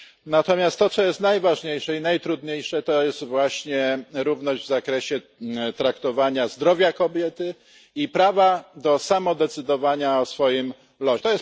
Natomiast to, co jest najważniejsze i najtrudniejsze, to właśnie równość w zakresie traktowania zdrowia kobiety i prawa do samodecydowania o swoim losie.